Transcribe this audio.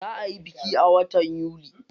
Za ayi biki a watan yuli.